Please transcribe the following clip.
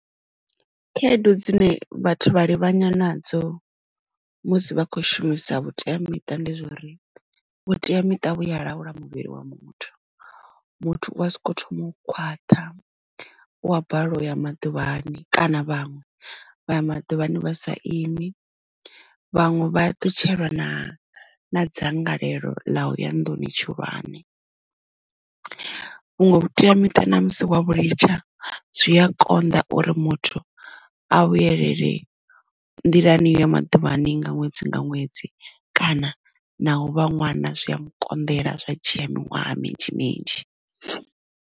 Khaedu dzine vhathu vha livhanywa nadzo musi vha khou shumisa vhuteamiṱa ndi zwori vhuteamiṱa vhuya laula muvhili wa muthu muthu u a soko thoma u khwaṱha u ya balelwa u ya maḓuvhani kana vhaṅwe vha ya maḓuvhani vha sa imi vhaṅwe vha ṱutshelwa na na dzangalelo ḽa u ya nduni tshihulwane vhunwe vhuteamiṱa na musi wa vhu litsha zwi a konḓa uri muthu a vhuyelele nḓilani yo ya maḓuvhani nga ṅwedzi nga ṅwedzi kana na u vha ṅwana zwi a mu konḓela zwa dzhia miṅwaha minzhi minzhi.